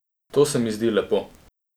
To se mi zdi lepo.